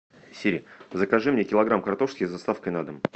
сири закажи мне килограмм картошки с доставкой на дом